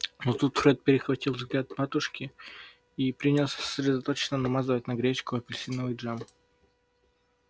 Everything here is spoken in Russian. но тут фред перехватил взгляд матушки и принялся сосредоточенно намазывать на гречку апельсиновый джем